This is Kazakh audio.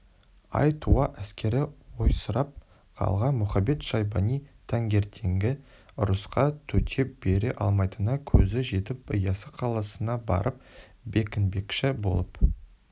ай туа әскері ойсырап қалған мұхамед-шайбани таңертеңгі ұрысқа төтеп бере аламайтынына көзі жетіп яссы қаласына барып бекінбекші боп